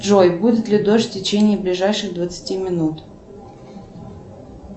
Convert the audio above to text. джой будет ли дождь в течении ближайших двадцати минут